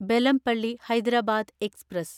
Bellampalli Hyderabad express